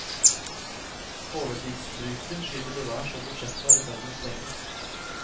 Overtidsbruken skyter til værs, og budsjettene er i ferd med å sprenges.